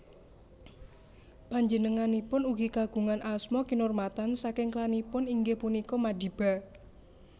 Panjenenganipun ugi kagungan asma kinurmatan saking klanipun inggih punika Madiba